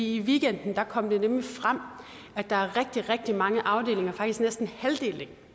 i weekenden kom det nemlig frem at der er rigtig rigtig mange afdelinger faktisk næsten halvdelen